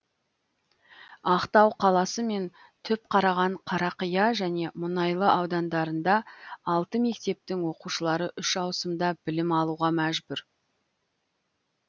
ақтау қаласы мен түпқараған қарақия және мұнайлы аудандарында алты мектептің оқушылары үш ауысымда білім алуға мәжбүр